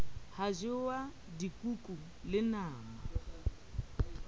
hwa jewa dikuku le nama